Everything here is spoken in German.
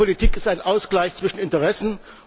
Ich denke, Politik ist ein Ausgleich zwischen Interessen.